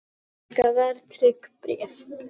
Enn hækka verðtryggð bréf